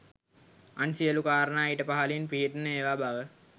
අන් සියළු කාරණා ඊට පහලින් පිහිටන ඒවා බව